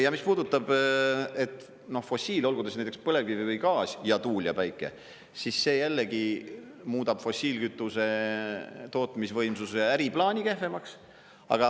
Ja mis puudutab fossiile, olgu ta siis näiteks põlevkivi või gaas ja tuul ja päike, siis see jällegi muudab fossiilkütuse tootmisvõimsuse äriplaani kehvemaks.